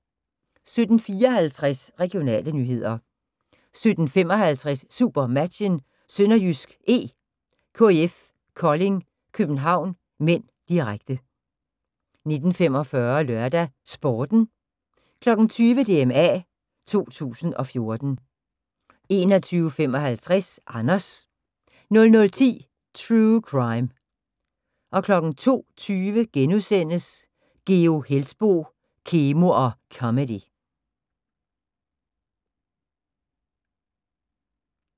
17:54: Regionale nyheder 17:55: SuperMatchen: SønderjyskE - KIF Kolding København (m), direkte 19:45: LørdagsSporten 20:00: DMA 2014 21:55: Anders 00:10: True Crime 02:20: Geo Heltboe – Kemo og comedy *